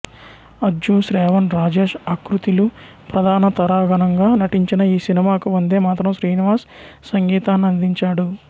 అజ్జు శ్రావణ్ రాజేష్ అకృతి లు ప్రధాన తారాగణంగా నటించిన ఈ సినిమాకు వందేమాతం శ్రీనివాస్ సంగీతాన్నందించాడు